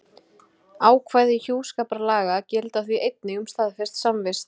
Ákvæði hjúskaparlaga, gilda því einnig um staðfesta samvist.